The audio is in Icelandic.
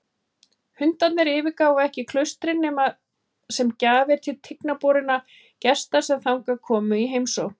Hundarnir yfirgáfu ekki klaustrin nema sem gjafir til tiginborinna gesta sem þangað komu í heimsókn.